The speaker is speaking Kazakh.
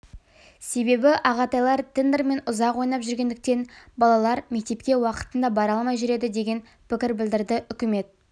себебі ағатайлар тендермен ұзақ ойнап жүретіндіктен балалар мектепке уақытында бара алмай жүреді деген пікір білдірді үкімет